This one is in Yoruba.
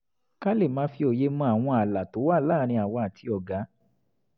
ká lè máa fi òye mọ àwọn ààlà tó wà láàárín àwa àti ọ̀gá